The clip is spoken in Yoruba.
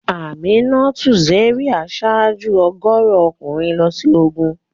Aminatu Zaria ṣáájú ọ̀gọ̀ọ̀rọ̀ ọkùnrin lọ sí ogun.